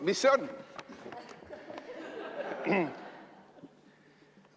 Mis see on?